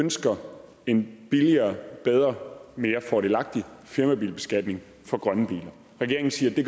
ønsker en billigere bedre mere fordelagtig firmabilbeskatning for grønne biler regeringen siger at det